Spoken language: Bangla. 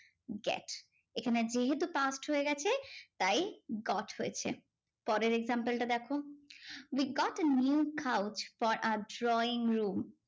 Get. এখানে যেহেতু past হয়ে গেছে তাই got হয়েছে। পরের example টা দেখো, we got a new couch for our drawing room